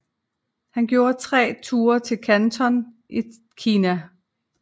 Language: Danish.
Han gjorde tre ture til Kanton i Kina